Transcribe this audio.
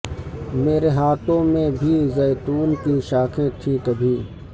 میرے ہاتھوں میں بھی زیتون کی شاخیں تھیں کبھی